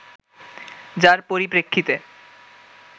যার পরিপ্রেক্ষিতে